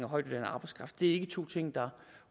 højtuddannet arbejdskraft det er ikke to ting der